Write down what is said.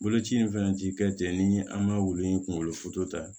Boloci in fɛnɛ ti kɛ ten ni an b'a wulu in kunkolo foto ta